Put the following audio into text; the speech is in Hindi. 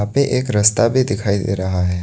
पे एक रस्ता भी दिखाई दे रहा है।